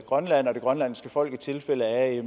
grønland og det grønlandske folk i tilfælde af